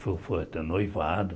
Foi foi até noivado.